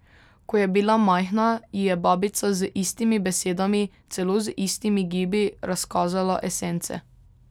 Ko je bila majhna, ji je babica z istimi besedami, celo z istimi gibi razkazala esence.